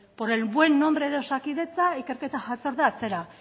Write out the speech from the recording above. por el buen nombre de osakidetza ikerketa batzordea atzera